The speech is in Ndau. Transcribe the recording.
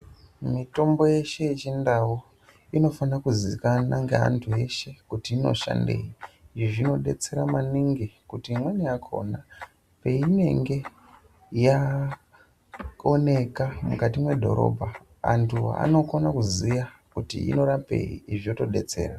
Mitombo yeshe yechindau inofana kuzikanwa ngeantu eshe kuti inoshandei izvi zvinodetsera maningi kuti imweni yakona peinenge yaoneka mukati mwedhorobha antu anokone kuziya kuti inorapei zvotodetsera.